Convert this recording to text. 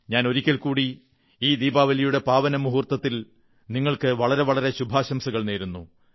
ഞാൻ ഒരിക്കൽ കൂടി ഈ ദീപാവലിയുടെ പാവനമുഹൂർത്തത്തിൽ നങ്ങൾക്ക് വളരെ വളരെ ശുഭാശംസകൾ നേരുന്നു